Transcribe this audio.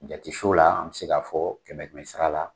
Jati an bɛ se ka fɔ kɛmɛ kɛmɛ sara la.